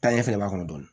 Taa ɲɛ fɛnɛ b'a kɔnɔ dɔɔnin